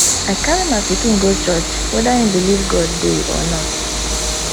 i carry my pikin go church whether im believe god dey or not